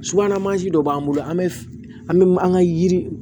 Subahana mansin dɔ b'an bolo an bɛ an bɛ an ka yiri